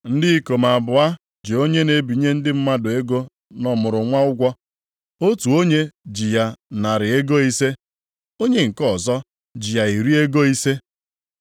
“Ndị ikom abụọ ji onye na-ebinye ndị mmadụ ego nʼọmụrụnwa ụgwọ. Otu onye ji ya narị ego ise, onye nke ọzọ ji ya iri ego ise.